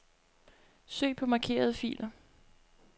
Søg på markerede filer.